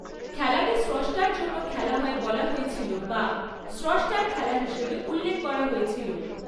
খেলাটি 'স্রষ্টার জন্য' খেলা হয় বলা হয়েছিল বা 'স্রষ্টার খেলা' হিসাবে উল্লেখ করা হয়েছিল।